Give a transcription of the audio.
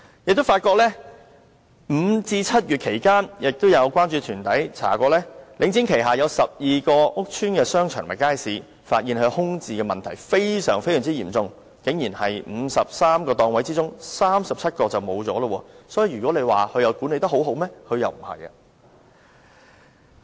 有關注團體曾進行調查，發現在5月至7月期間，領展旗下有12個屋邨商場和街市的空置問題非常嚴重，在53個檔位之中竟然有37個空置，所以如果說領展管理得很好，事實並非如此。